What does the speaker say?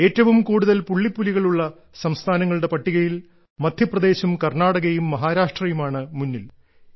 ഏറ്റവും കൂടുതൽ പുള്ളിപ്പുലികളുള്ള സംസ്ഥാനങ്ങളുടെ പട്ടികയിൽ മദ്ധ്യപ്രദേശും കർണ്ണാടകയും മഹാരാഷ്ട്രയുമാണ് മുന്നിൽ